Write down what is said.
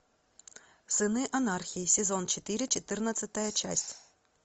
сыны анархии сезон четыре четырнадцатая часть